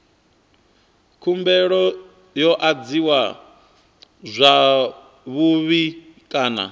khumbelo yo adziwa zwavhui kana